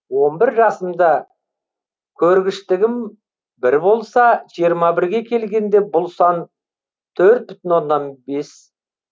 он бір жасымда көргіштігім бір болса жиырма бірге келгенде бұл сан төрт бүтін оннан бес